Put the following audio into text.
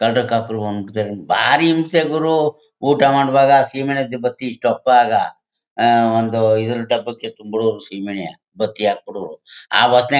ಕಳ್ದ್ರೂ ಕಾಪ್ರು ಬಂದ್ಬಿಡ್ತಾರೆ ಬಾರಿ ಹಿಂಸೆ ಗುರು ಊಟ ಮಾಡ್ವಾಗ ಸಿಮೆನೆ ಬತ್ತಿ ಇಟ್ಟು ಅಹ್ ಅಹ್ ಒಂದು ಇದ್ ಡಬ್ಬಕೆ ತುಂಬಿರೋಡು ಸಿಮೆನೇ ಬತ್ತಿ ಹಾಕ್ಬಿಡೋರು ಆವಾಜ್--